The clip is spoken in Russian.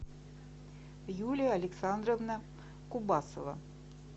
юлия александровна кубасова